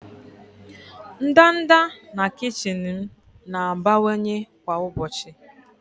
ndanda na kichin m na-abawanye kwa ụbọchị.